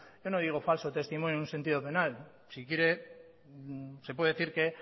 yo no digo falso testimonio en un sentido penal si quiere se puede decir que